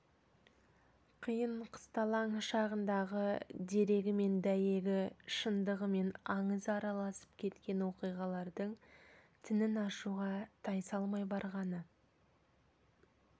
қиын-қысталаң шағындағы дерегі мен дәйегі шындығы мен аңызы араласып кеткен оқиғалардың тінін ашуға тайсалмай барғаны